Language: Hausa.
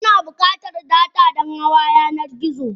Ana bukatar data Dan hawa yanar gizo.